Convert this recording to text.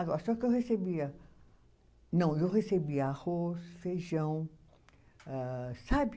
Agora, só que eu recebia. Não, eu recebia arroz, feijão, âh sabe?